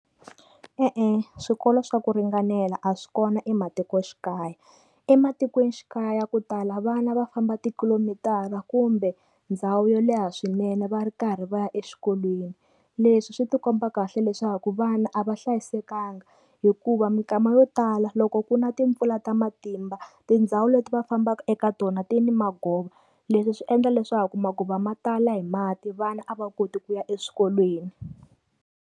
E-e swikolo swa ku ringanela a swi kona ematikoxikaya, ematikwenixikaya ku tala vana va famba ti kilomitara kumbe ndhawu yo leha swinene va ri karhi va ya exikolweni, leswi swi ti komba kahle leswaku vana a va hlayisekanga hikuva mikama yo tala loko ku na timpfula ta matimba tindhawu leti va fambaka eka tona ti ni magova, leswi swi endla leswaku maguva ma tala hi mati vana a va koti ku ya eswikolweni.